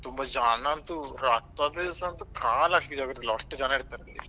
ತುಂಬಾ ಜನ ಅಂತೂ ರಥದ ದಿವ್ಸ ಅಂತೂ ಕಾಲ್ ಹಾಕ್ಲಿಕ್ಕೆ ಜಾಗ ಇರೋದಿಲ್ಲ ಅಷ್ಟು ಜನ ಇರ್ತಾರೆ.